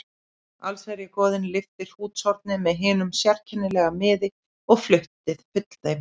Allsherjargoðinn lyfti hrútshorni með hinum sérkennilega miði og flutti full þeim